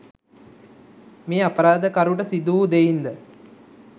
මේ අපරාධකරුට සිදුවූ දෙයින් ද